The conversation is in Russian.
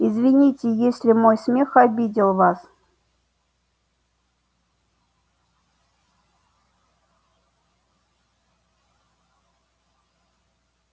извините если мой смех обидел вас